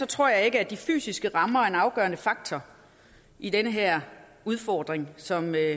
tror jeg ikke at de fysiske rammer er en afgørende faktor i den her udfordring som er